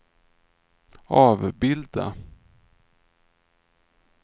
avbilda